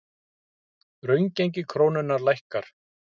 Raungengi krónunnar lækkar